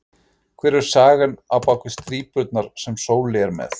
Hver er sagan á bak við strípurnar sem Sóli er með?